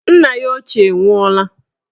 Nna ya ochie nwụọla